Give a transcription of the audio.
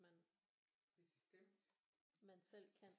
Man man selv kan